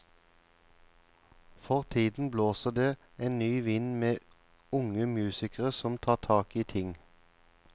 For tiden blåser det en ny vind med unge musikere som tar tak i ting.